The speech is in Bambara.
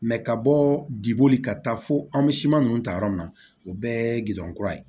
ka bɔ diboli ka taa fo an bɛ siman ninnu ta yɔrɔ min na o bɛɛ ye gindo kura ye